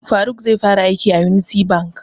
Faruk zai fara aiki a Unity bank